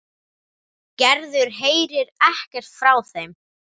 Gerður heyrir ekkert frá þeim.